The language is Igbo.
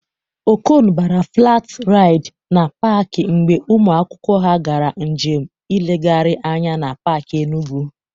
Okon bara flat raịd na pak mgbe ụmụ akwụkwọ ha gara njem nlegharị anya na pak Enugwu